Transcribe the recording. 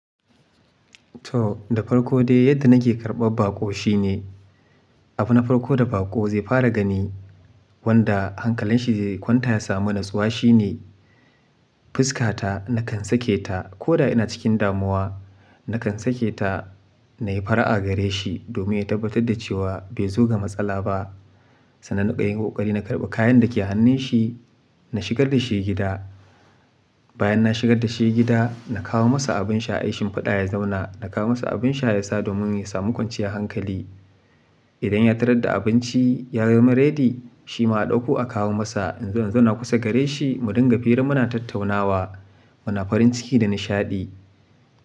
To da farko dai yadda nake karɓar baƙo shine, abun na farko da baƙo zai fara gani wanda hankalin shi zai kwanta ya samu natsuwa shine, fuskata nakan sake ta ko da ina cikin damuwa, nakan sake ta na yi fara'a gare shi domin ya tabbatar da cewa bai zo ga matsala ba. Sannan naɗan yi ƙoƙari na karɓa kayan da ke hannun shi, na shigar da shi gida. Bayan na shigar da shi gida, na kawo masa abin sha, aishin faɗa ya zauna. Na kawo masa abin sha ya sa domin ya sami kwanciyar hankali. Idan ya tarar da abinci ya zama ready, shi ma ɗauko a kawo masa. In zo in zauna kusa gare shi mu dinga fere muna tattaunawa, muna farin ciki da nishaɗi.